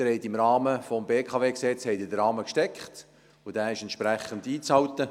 Sie haben bei den Beratungen des BKWG den Rahmen gesteckt, und dieser ist entsprechend einzuhalten.